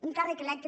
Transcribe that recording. un càrrec electe